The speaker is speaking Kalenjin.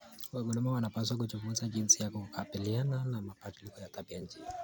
Wakulima wanapaswa kujifunza jinsi ya kukabiliana na mabadiliko ya tabianchi.